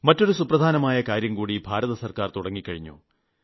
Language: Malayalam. മറ്റൊരു സുപ്രധാനമായ കാര്യംകൂടി കേന്ദ്ര ഗവൺമെന്റ് തുടങ്ങിക്കഴിഞ്ഞു